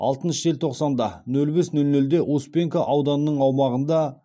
алтыншы желтоқсанда нөл бес нөл нөлде успенка ауданының аумағында